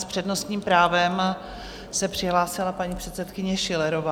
S přednostním právem se přihlásila paní předsedkyně Schillerová.